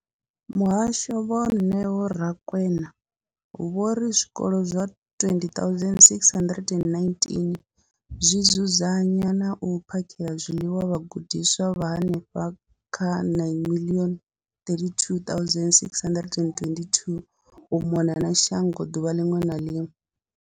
Muhasho, Vho Neo Rakwena, vho ri zwikolo zwa 20 619 zwi dzudzanya na u phakhela zwiḽiwa vhagudiswa vha henefha kha 9 032 622 u mona na shango ḓuvha ḽiṅwe na ḽiṅwe.